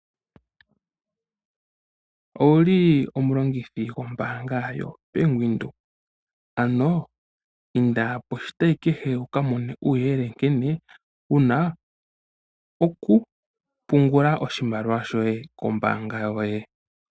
Owu li omulongithi wombaanga yoBank Windhoek, ano inda poshitayi kehe, wu ka mone ko uuyelele nkene wu na okupungula oshimaliwa shoye kombaanga yoye.